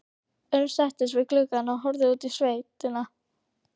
Örn settist við gluggann og horfði út í sveitina.